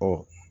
Ɔ